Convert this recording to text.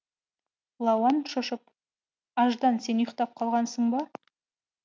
лауан шошып аждан сен ұйықтап қалғасын ба